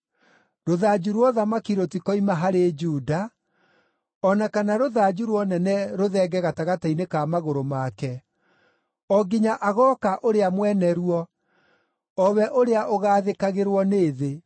Rũthanju rwa ũthamaki rũtikoima harĩ Juda, o na kana rũthanju rwa ũnene rũthenge gatagatĩ-inĩ ka magũrũ make, o nginya agooka ũrĩa mwene ruo, o we ũrĩa ũgaathĩkagĩrwo nĩ thĩ.